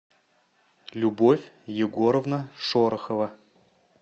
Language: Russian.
любовь егоровна шорохова